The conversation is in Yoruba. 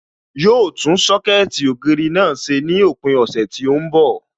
Yóò tún Sọ́kẹ̀tì ògiri náà ṣe ní òpin ọ̀sẹ̀ tí ó ń bọ̀